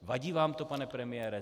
Vadí vám to, pane premiére?